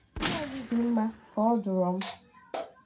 Mmụọ gị dị mma; kà ọ dụrọ m.